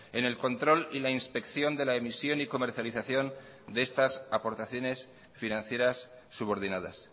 en el control y la inspección de la emisión y comercialización de estas aportaciones financieras subordinadas